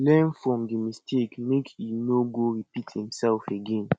learn from di mistake make e no go repeat imself again